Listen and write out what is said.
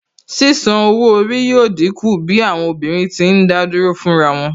Sísan owó orí yóò dínkù bí àwọn obìnrin tí ń dádúró fún ra wọn